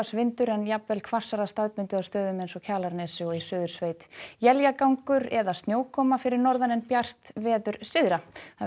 vindur en jafnvel hvassara staðbundið á stöðum eins og Kjalarnesi og í Suðursveit éljagangur eða snjókoma fyrir norðan en bjart veður syðra